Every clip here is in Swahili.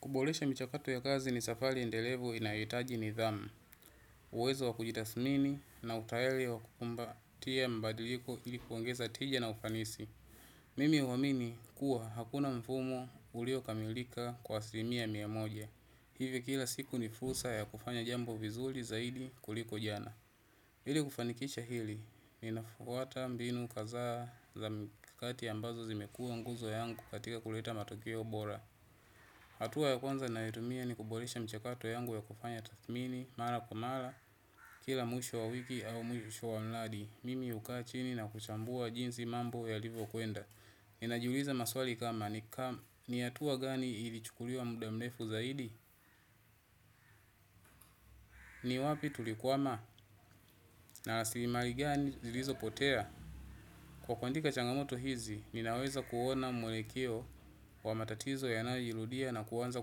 Kuboresha mchakato wa kazi ni safari endelevo inayohitaji nidhamu. Uwezo wa kujitathmini na utayari wa kukumbatia mbadiliko ilikuwangeza tija na ufanisi. Mimi huamini kuwa hakuna mfumo uliokamilika kwa asilimia mia moja. Hivyo kila siku ni fursa ya kufanya jambo vizuri zaidi kuliko jana. Ili kufanikisha hili, ninafuata mbinu kadhaa za mikakati ambazo zimekua nguzo yangu katika kuleta matokeo bora. Hatua ya kwanza ninayoitumia ni kuboresha mchakato wangu ya kufanya tathmini, mara kwa mara, kila mwisho wa wiki au mwisho wa mradi, mimi hukaa chini na kuchambua jinsi mambo yalivokwenda. Ninajuliza maswali kama ni hatua gani ilichukuliwa muda mrefu zaidi? Ni wapi tulikwama na rasilimali gani zilizopotea? Kwa kuandika changamoto hizi ninaweza kuona mwelekeo wa matatizo yanayojirudia na kuanza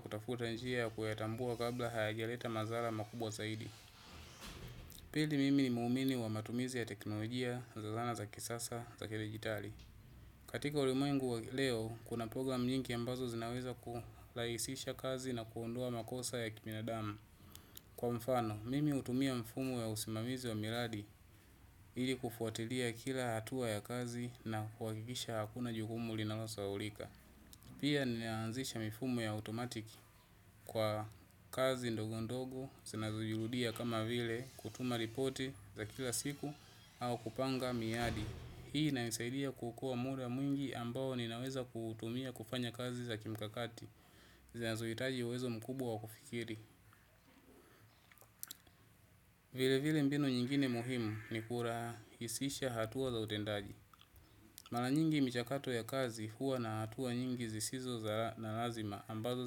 kutafuta njia ya kuzitatua kabla hayaja anza kuleta madhara makubwa zaidi. Pili mimi ni muumini wa matumizi ya teknolojia za zana za kisasa za kidigitali. Katika ulimwengu wa leo, kuna program nyingi ambazo zinaweza kurahisisha kazi na kuondoa makosa ya kibinadamu. Kwa mfano, mimi hutumia mfumo ya usimamizi wa miradi, ili kufuatilia kila hatua ya kazi na kuhakikisha hakuna jukumu linalo saulika. Pia ninaanzisha mfumo ya otomatiki kwa kazi ndogo ndogo, zinazojirudia kama vile kutuma ripoti za kila siku au kupanga miadi. Hii inanisaidia kuokoa muda mwingi ambao ninaweza kutumia kufanya kazi za kimkakati, zinazohitaji uwezo mkubwa wa kufikiri. Vile vile, mbinu nyingine muhimu ni kurahisisha hatua za utendaji. Mara nyingi mchakato ya kazi huwa na hatua nyingi zisizo za lazima ambazo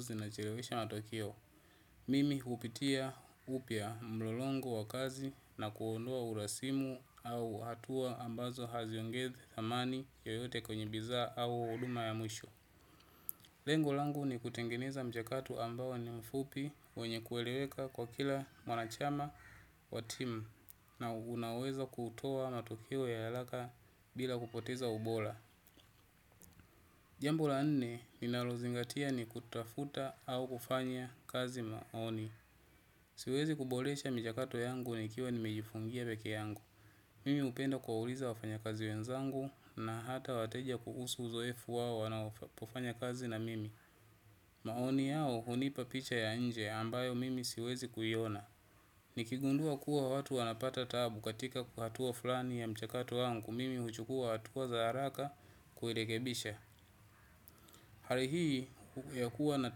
zinachelewesha matokio. Mimi hupitia upya mlolongo wa kazi na kuondoa urasimu au hatua ambazo haziongezi thamani yoyote kwenye bidhaa au huduma ya mwisho. Lengo langu ni kutengeneza mchakato ambao ni mfupi wenye kueleweka kwa kila mwanachama wa timu na unaweza kutoa matokeo ya haraka bila kupoteza ubora. Jambo la nne ninalozingatia ni kutafuta au kufanya kazi maoni. Siwezi kuboresha mchakato wangu nikiwa nimejifungia peke yangu. Mimi hupenda kuwauliza wafanyakazi wenzangu na hata wateja kuhusu uzoefu wao wanapofanya kazi na mimi. Maoni yao hunipa picha ya nje ambayo mimi siwezi kuyona. Nikigundua kuwa watu wanapata tabu katika ku hatua fulani ya mchakato wangu mimi huchukua hatua za haraka kurekebisha. Hali hii ya kuwa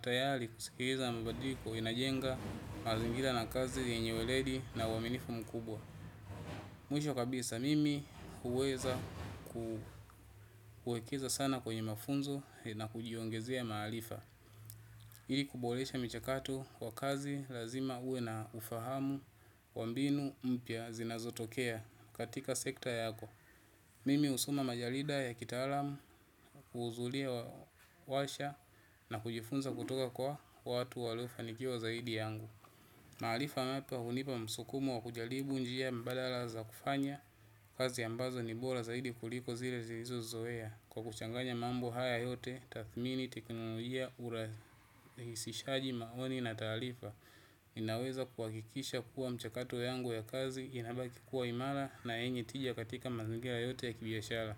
tayari kusikiza mabadiliko inajenga mazingira ya kazi yenye weledi na uaminifu mkubwa. Mwisho kabisa mimi huweza kuwekeza sana kwenye mafunzo na kujiongezea maarifa ili kuboresha mchakato wa kazi lazima uwe na ufahamu wa mbinu mpya zinazotokea katika sekta yako. Mimi husoma majarida ya kitaalam kuhudhuria warsha na kujifunza kutoka kwa watu waliofanikiwa zaidi yangu. Maarifa hapa hunipa msukumo wa kujaribu njia mbalala za kufanya kazi ambazo ni bora zaidi kuliko zile nilizo zoea. Kwa kuchanganya mambo haya yote, tathmini, teknolojia, urahisishaji, maoni na taarifa inaweza kwa kuhakikisha kuwa mchakato wangu ya kazi, inabaki kuwa imara na yenye tija katika mazangira yote ya kibiashara.